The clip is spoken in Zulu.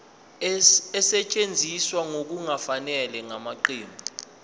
esetshenziswe ngokungafanele ngamaqembu